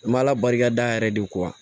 N m'ala barika da yɛrɛ de ko wa